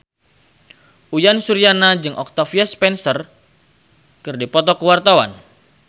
Uyan Suryana jeung Octavia Spencer keur dipoto ku wartawan